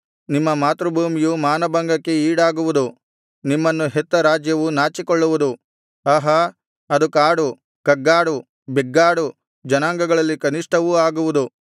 ನಿಮ್ಮ ಮಾತೃಭೂಮಿಯು ಮಾನಭಂಗಕ್ಕೆ ಈಡಾಗುವುದು ನಿಮ್ಮನ್ನು ಹೆತ್ತ ರಾಜ್ಯವು ನಾಚಿಕೊಳ್ಳುವುದು ಆಹಾ ಅದು ಕಾಡು ಕಗ್ಗಾಡು ಬೆಗ್ಗಾಡು ಜನಾಂಗಗಳಲ್ಲಿ ಕನಿಷ್ಠವೂ ಆಗುವುದು